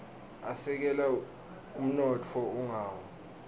asekela umnotfo ungawi